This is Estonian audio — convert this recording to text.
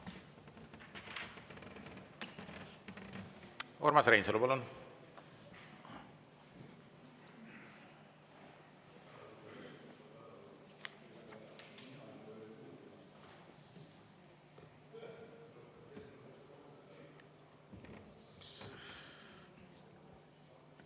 Urmas Reinsalu, palun!